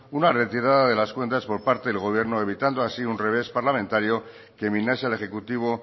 una retirada de las cuentas por parte del gobierno evitando así un revés parlamentario que minase al ejecutivo